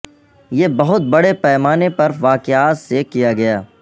یہ بہت بڑے پیمانے پر واقعات سے کیا گیا